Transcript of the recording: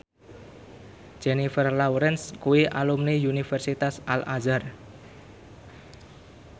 Jennifer Lawrence kuwi alumni Universitas Al Azhar